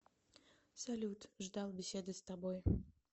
салют ждал беседы с тобой